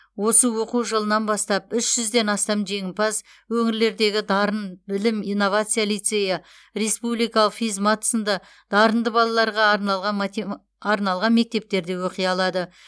осы оқу жылынан бастап үш жүзден астам жеңімпаз өңірлердегі дарын білім инновация лицейі республикалық физмат сынды дарынды балаларға арналған мектептерде оқи алады